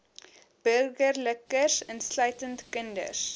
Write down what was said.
burgerlikes insluitend kinders